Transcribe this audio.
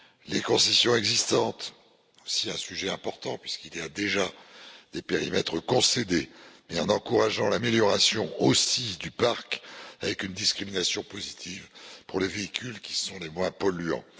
les concessions existantes, c'est aussi un sujet important, puisqu'il y a déjà des périmètres concédés et en encourageant également l'amélioration du parc avec une discrimination positive pour les véhicules qui sont les moins polluants.